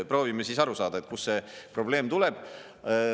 Proovime siis aru saada, kus see probleem tuleb.